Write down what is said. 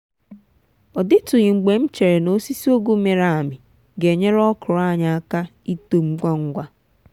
ọ dịtụghị mgbe m chere na osisi ụgu mịrị amị ga enyere okro anyị aka ito ngwa ngwa.